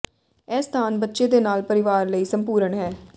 ਇਹ ਸਥਾਨ ਬੱਚੇ ਦੇ ਨਾਲ ਪਰਿਵਾਰ ਲਈ ਸੰਪੂਰਣ ਹੈ